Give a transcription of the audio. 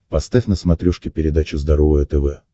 поставь на смотрешке передачу здоровое тв